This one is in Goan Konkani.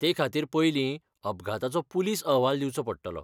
ते खातीर पयलीं, अपघाताचो पुलिस अहवाल दिवचो पडटलो.